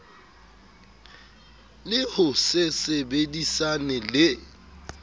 le ho se sebedisane le